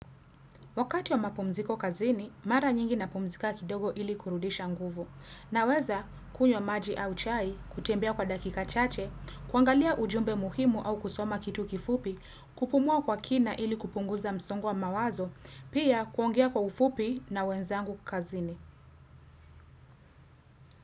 Wakati wa mapumziko kazini, mara nyingi napumzika kidogo ili kurudisha nguvu. Naweza, kunywa maji au chai, kutembea kwa dakika chache, kuangalia ujumbe muhimu au kusoma kitu kifupi, kupumua kwa kina ili kupunguza msongo wa mawazo, pia kuongea kwa ufupi na wenzangu kazini.